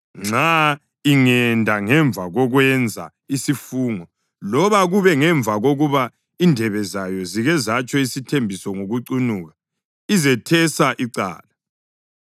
Nxa ingenda ngemva kokwenza isifungo loba kube ngemva kokuba indebe zayo zike zatsho isithembiso ngokucunuka izethesa icala